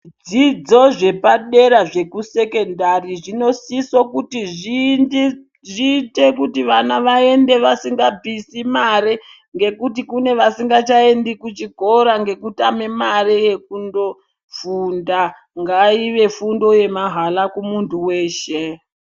Zvidzidzo zvepadera zvekusekendari zvinosise kuti vana vaende vasingabvise mare, ngekuti kune vasingachaendi kuchikoro ngekutame mare yekundofunda. Ngaive fundo yemahala kumuntu weshe.